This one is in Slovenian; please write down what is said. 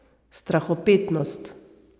Strahopetnost.